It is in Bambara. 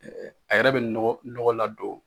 A yɛrɛ be nɔgɔ, nɔgɔ la don